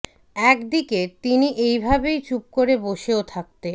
এক দিকে তিনি এই ভেবে চুপ করে বসেও থাকতে